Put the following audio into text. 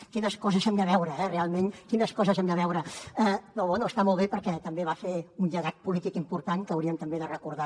quines coses hem de veure realment eh realment quines coses hem de veure no està molt bé perquè també va fer un llegat polític important que hauríem també de recordar